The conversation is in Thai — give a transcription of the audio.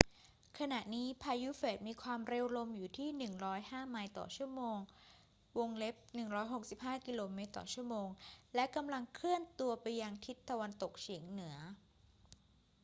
ขณะนี้พายุเฟรดมีความเร็วลมอยู่ที่ 105 ไมล์ต่อชั่วโมง 165 กม./ชม. และกำลังเคลื่อนตัวไปทางทิศตะวันตกเฉียงเหนือ